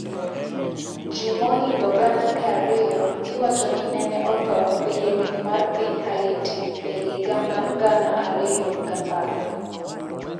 Ji mohingo gana miya ariyo iwacho ni nene otho e yiengni mar piny Haiti e higa 2010.